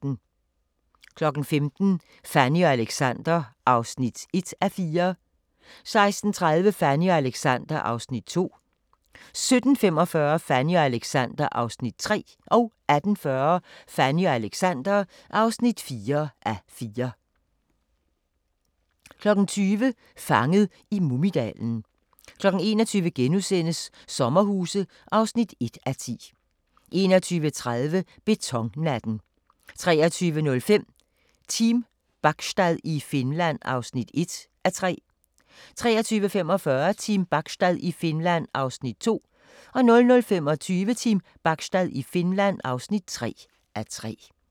15:00: Fanny og Alexander (1:4) 16:30: Fanny og Alexander (2:4) 17:45: Fanny og Alexander (3:4) 18:40: Fanny og Alexander (4:4) 20:00: Fanget i Mumidalen 21:00: Sommerhuse (1:10)* 21:30: Betonnatten 23:05: Team Bachstad i Finland (1:3) 23:45: Team Bachstad i Finland (2:3) 00:25: Team Bachstad i Finland (3:3)